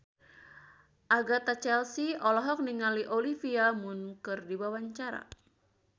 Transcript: Agatha Chelsea olohok ningali Olivia Munn keur diwawancara